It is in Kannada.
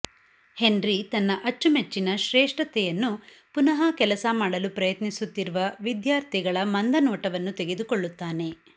ಹೆನ್ರಿ ತನ್ನ ಅಚ್ಚುಮೆಚ್ಚಿನ ಶ್ರೇಷ್ಠತೆಯನ್ನು ಪುನಃ ಕೆಲಸ ಮಾಡಲು ಪ್ರಯತ್ನಿಸುತ್ತಿರುವ ವಿದ್ಯಾರ್ಥಿಗಳ ಮಂದ ನೋಟವನ್ನು ತೆಗೆದುಕೊಳ್ಳುತ್ತಾನೆ